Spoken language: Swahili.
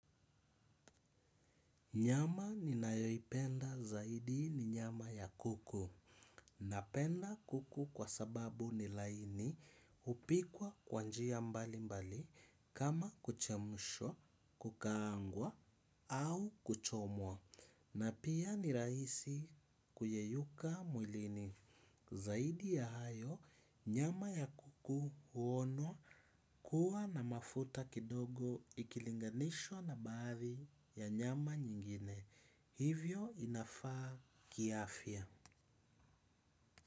Nyama ninayoipenda zaidi ni nyama ya kuku. Napenda kuku kwa sababu ni laini hupikwa kwa njia mbali mbali kama kuchemshwa, kukaangwa au kuchomwa. Na pia ni rahisi kuyeyuka mwilini. Zaidi ya hayo, nyama ya kuku huonwa kuwa na mafuta kidogo ikilinganishwa na baadhi ya nyama nyingine. Hivyo inafaa kiafya.